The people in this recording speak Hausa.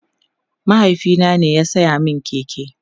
mahaifina ne ya saya min keke